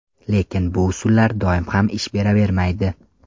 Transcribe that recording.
Lekin bu usullar doim ham ish beravermaydi.